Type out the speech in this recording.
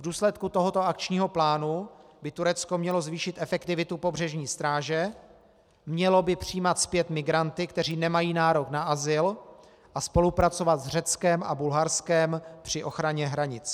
V důsledku tohoto akčního plánu by Turecko mělo zvýšit efektivitu pobřežní stráže, mělo by přijímat zpět migranty, kteří nemají nárok na azyl, a spolupracovat s Řeckem a Bulharskem při ochraně hranic.